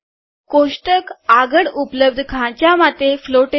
કોષ્ટક આગળ ઉપલબ્ધ ખાંચા માટે ફ્લોટેડ છે